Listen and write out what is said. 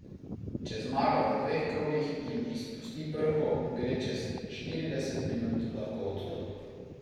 Če zmaga v dveh krogih in izpusti prho, gre čez štirideset minut lahko od tod.